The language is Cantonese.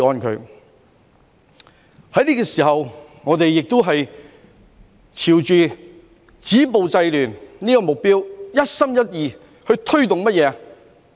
在這個時候，我們也是朝着止暴制亂這個目標，一心一意去推動甚麼？